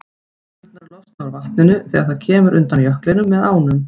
Gufurnar losna úr vatninu þegar það kemur undan jöklinum með ánum.